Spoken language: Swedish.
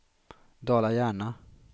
Dala-Järna